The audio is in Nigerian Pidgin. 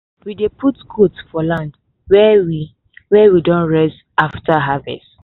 we dey put goat for land wey we wey we don rest after harvest